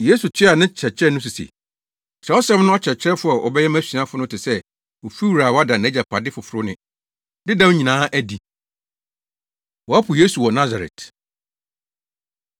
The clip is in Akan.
Yesu toaa ne nkyerɛkyerɛ no so se, “Kyerɛwsɛm no akyerɛkyerɛfo a wɔabɛyɛ mʼasuafo no te sɛ ofiwura a wada nʼagyapade foforo ne dedaw nyinaa adi.” Wɔpo Yesu Wɔ Nasaret